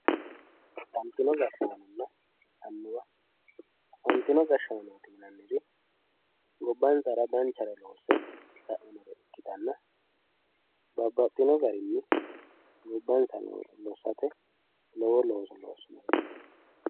Afantino gashshaanonna annuwa afantino gashshaano gobbansara danchare loosse sa'inore ikkanna babbaxxitino garinni gobbansa lossate lowo looso loossinoreeti.